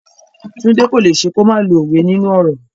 Tunde cannot do without using proverbs in conversations.